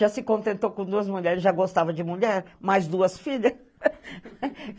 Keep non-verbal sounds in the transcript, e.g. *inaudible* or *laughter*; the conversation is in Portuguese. Já se contentou com duas mulheres, já gostava de mulher, mais duas filhas. *laughs*